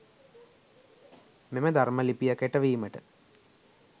මෙම ධර්ම ලිපිය කෙටවීමට